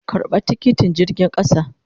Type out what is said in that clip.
Karba tikiti jirgin kasan.